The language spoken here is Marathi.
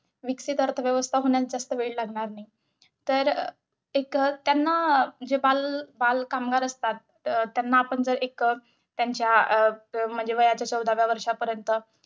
विकसित अर्थव्यवस्था होण्यास जास्त वेळ लागणार नाही. तर एक त्यांना अं जे बाल बालकामगार असतात, अं त्यांना आपण जर एक त्यांच्या म्हणजे वयाच्या चौदाव्या वर्षापर्यंत.